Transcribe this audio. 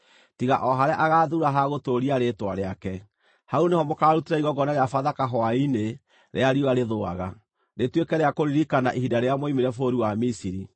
tiga o harĩa agaathuura ha gũtũũria Rĩĩtwa rĩake. Hau nĩho mũkaarutĩra igongona rĩa Bathaka hwaĩ-inĩ rĩrĩa riũa rĩthũaga, rĩtuĩke rĩa kũririkana ihinda rĩrĩa mwoimire bũrũri wa Misiri.